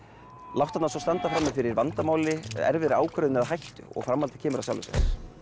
láttu hana svo standa frammi fyrir vandamáli erfiðri ákvörðun eða hættu og framhaldið kemur af sjálfu sér